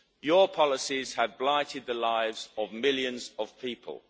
Your policies have blighted the lives of millions of people.